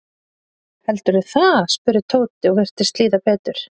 Heldurðu það? spurði Tóti og virtist líða betur.